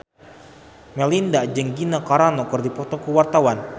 Melinda jeung Gina Carano keur dipoto ku wartawan